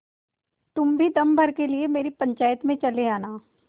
तुम भी दम भर के लिए मेरी पंचायत में चले आना